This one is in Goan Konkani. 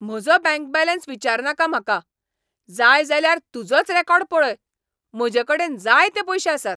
म्हजो बँक बॅलेंस विचारनाका म्हाका. जाय जाल्यार तुजोच रिकॉर्ड पळय. म्हजेकडेन जायते पयशे आसात.